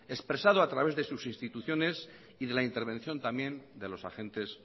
expresado a través de sus instituciones y de la intervención también de los agentes